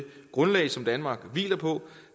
grundlag som danmark hviler på